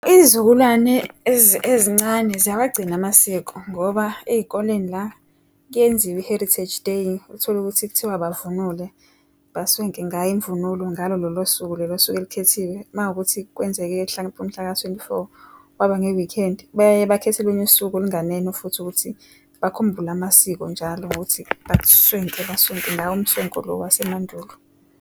Iyizukulwane ezincane ziyawagcina amasiko ngoba ezikoleni la kuyenziwa i-Heritage Day, utholukuthi kuthiwa bavunule, baswenke ngayo imvunulo ngalo lolo suku olusuke lukhethiwe. Mawukuthi kwenzeke mhlampe umhlaka-twenty-four kwaba nge-weekend, baye bakhethe olunye usuku olunganeno futhi ukuthi bakhumbule amasiko njalo ngokuthi baswenke ngawo umswenko lo wase mandulo.